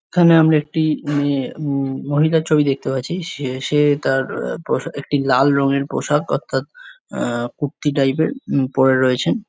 এখানে আমরা একটি মেয়ে ম মহিলা ছবি দেখতে পাচ্ছি সে সে তার পোষা একটি লাল রঙের পোশাক অর্থাৎ এ কুর্তি টাইপ -এর পরে রয়েছেন।